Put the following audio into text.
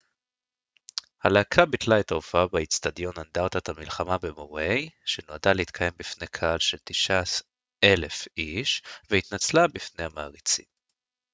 הלהקה ביטלה את ההופעה באצטדיון אנדרטת המלחמה במאווי שנועדה להתקיים בפני קהל של 9,000 איש והתנצלה בפני המעריצים